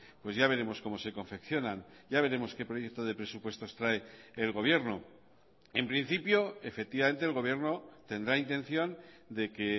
pues ya veremos cómo se confeccionan ya veremos qué proyecto de presupuestos trae el gobierno en principio efectivamente el gobierno tendrá intención de que